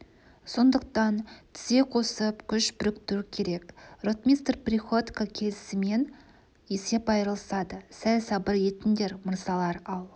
сондықтан тізе қосып күш біріктіру керек ротмистр приходько келісімен есеп айырылысады сәл сабыр етіңдер мырзалар ал